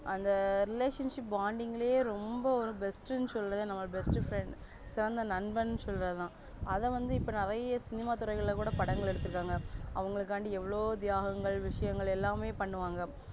அந்த relationship bounding லே ரொம்ப best னு சொல்லவே நம்ம best friend சிறந்த நண்பன் சொல்றதுதா அதைவந்து இப்ப நிறைய சினிமா துறைங்கள்ளகூட படங்கள் எடுத்து இருக்காங்க அவங்களுக்காண்டி எவ்ளோ தியாகங்கள் விஷயங்கள் எல்லாமே பண்ணுவாங்க